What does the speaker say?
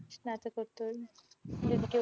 স্নাতকোত্তর যেটিকে